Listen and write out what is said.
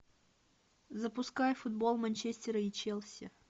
запускай футбол манчестера и челси